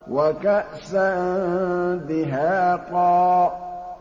وَكَأْسًا دِهَاقًا